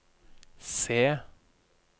C